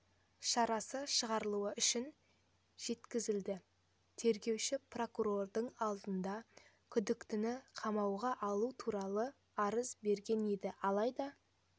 шарасы шығарылуы үшін жеткізілді тергеуші прокурордың алдында күдіктіні қамауға алу туралы арыз берген еді алайда